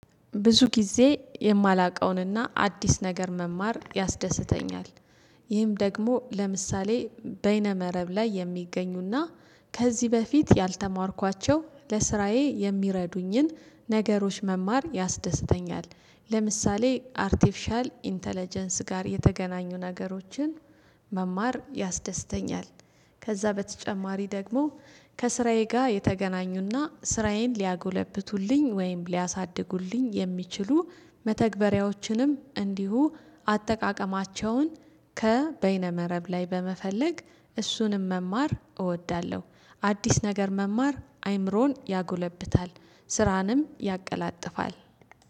ብዙ ጊዜ የማላውቀውንና አዲስ ነገር መማር ያስደስተኛል። ይህም ደግሞ ለምሳሌ በይነ መረብ ላይ የሚገኙና ከዚህ በፊት ያልተማርኳቸው ለስራዬ የሚረዱኝን ነገሮች መማር ያስደስተኛል። ለምሳሌ አርቲፊሻል ኢንተለጀንስ ጋር የተገናኙ ነገሮችን መማር ያስደስተኛል። ከዛ በተጨማሪ ደግሞ ከስራዬ ጋር የተገናኙና ስራዬን ሊያጎለብቱልኝ ወይም ሊያሳድጉልኝ የሚችሉ መተግበሪያዎችንም እንዲሁ አጠቃቀማቸውን ከበይነ መረብ ላይ በመፈለግ እሱንም መማር እወዳለሁ። አዲስ ነገር መማር አይምሮን ያጎለብታል ስራንም ያቀላጥፋል።